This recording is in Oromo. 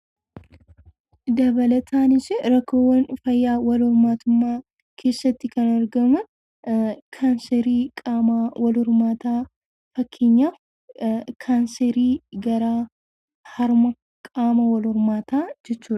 Fayyaa qaama walhormaataa keessatti kan argaman hedduutu jiru. Isaanis dhibee akka kaanserii qaama walhormaataa fi Kaanseriin harmaa isaan baay'ee ulfaataadha.